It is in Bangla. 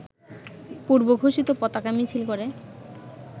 পূর্বঘোষিত পতাকা মিছিল করে